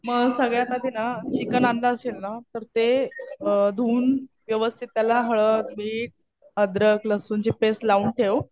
मग सगळ्यात आधी ना, चिकन आणलं असेल ना तर ते धुऊन व्यवस्थित त्याला हळद, मीठ, अद्रक-लसूणची पेस्ट लावून ठेव.